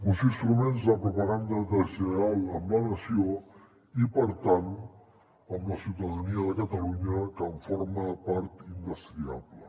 uns instruments de propaganda deslleial amb la nació i per tant amb la ciutadania de catalunya que en forma part indestriable